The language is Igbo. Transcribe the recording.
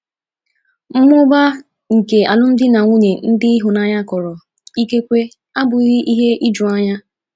Mmụba nke alụmdi na nwunye ndị ịhụnanya kọrọ ikekwe abụghị ihe ijuanya.